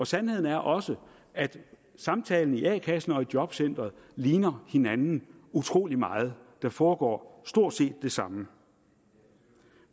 sandheden er også at samtalerne i a kassen og jobcenteret ligner hinanden utrolig meget der foregår stort set det samme